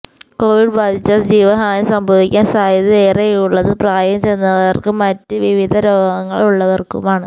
Covid ബാധിച്ചാൽ ജീവഹാനി സംഭവിക്കാൻ സാധ്യത ഏറെയുള്ളത് പ്രായം ചെന്നവർക്കും മറ്റ് വിവിധ രോഗങ്ങൾ ഉള്ളവർക്കുമാണ്